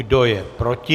Kdo je proti?